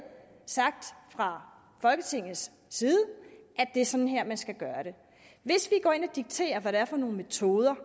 sagt fra folketingets side at det er sådan her man skal gøre det hvis vi går ind og dikterer hvad det er for nogle metoder